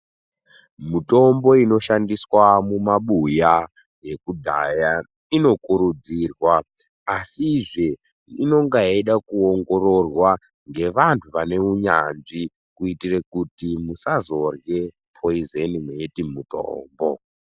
Mutombo inoshandiswa mumabuya yekudhaya inokurudzirwa asizve inonga yeida kuongororwa ngevanhu vane unyanzvi kuitire kuti musazorye poizeni mweiti mutombo.